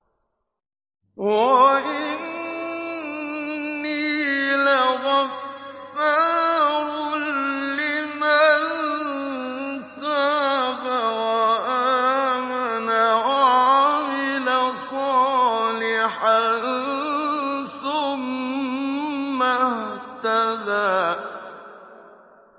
وَإِنِّي لَغَفَّارٌ لِّمَن تَابَ وَآمَنَ وَعَمِلَ صَالِحًا ثُمَّ اهْتَدَىٰ